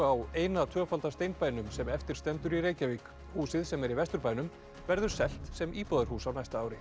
á eina tvöfalda sem eftir stendur í Reykjavík húsið sem er í Vesturbænum verður selt sem íbúðarhús á næsta ári